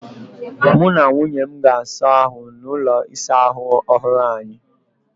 Mụ na nwunye m ga-asa ahụ n'ụlọ ịsa ahụ ọhụrụ anyị.